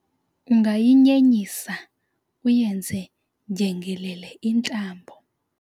ungayinyenyisa uyenze ndyengelele intambo